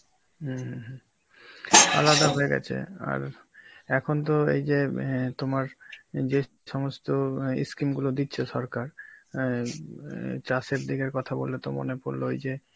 উম হম আলাদা হয়ে গেছে আর এখন তো এই যে অ্যাঁ তোমার যে সমস্ত এ scheme গুলো দিচ্ছে সরকার, আই অ্যাঁ চাষের দিকের কথা বললে তো মনে পড়ল ওই যে